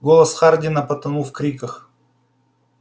голос хардина потонул в криках